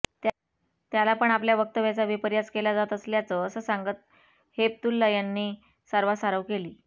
त्याला पण आपल्या वक्तव्याचा विपर्यास केला जात असल्याचं असं सांगत हेपतुल्ला यांनी सारवासारव केली